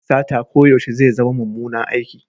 Sata koyaushe zai zama mummunan aiki.